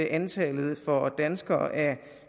antallet for danskere